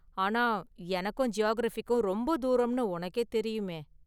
ஆனா, எனக்கும் ஜியாகிரஃபிக்கும் ரொம்ப​ தூரம்னு உனக்கே தெரியுமே!